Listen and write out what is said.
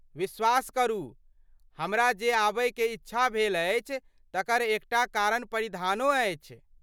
विश्वास करू, हमरा जे आबयकेँ इच्छा भेल अछि तकर एकटा कारण परिधानो अछि।